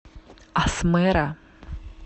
асмэра